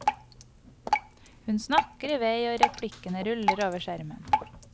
Hun snakker i vei, og replikkene ruller over skjermen.